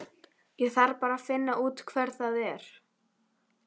Ég þarf bara að finna út hver það er.